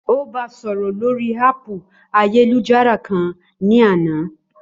Ó ba sọ̀rọ̀ lórii háàpù ayélujára kan ní àná